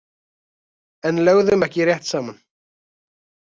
En lögðum ekki rétt saman.